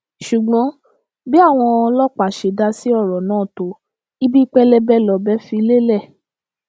ṣùgbọn bí àwọn ọlọpàá ṣe dá sí ọrọ náà tó ibi pẹlẹbẹ lọbẹ fi lélẹ